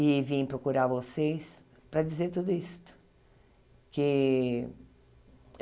E vim procurar vocês para dizer tudo isso. Que